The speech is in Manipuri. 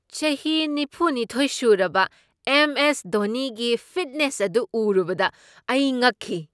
ꯆꯍꯤ ꯅꯤꯐꯨꯅꯤꯊꯣꯢ ꯁꯨꯔꯕ ꯑꯦꯝ. ꯑꯦꯁ. ꯙꯣꯅꯤꯒꯤ ꯐꯤꯠꯅꯦꯁ ꯑꯗꯨ ꯎꯔꯨꯕꯗ ꯑꯩ ꯉꯛꯈꯤ꯫